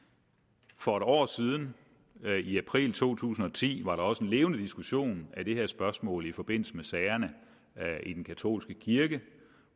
for en år siden i april to tusind og ti var der også en levende diskussion af det her spørgsmål i forbindelse med sagerne i den katolske kirke